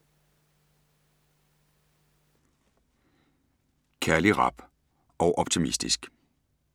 Kærlig, rap og optimistisk